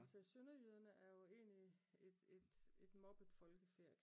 Altså sønderjyderne er jo egentlig et et et mobbet folkefærd